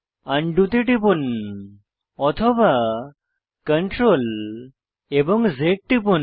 undo তে টিপুন অথবা Ctrl এবং Z টিপুন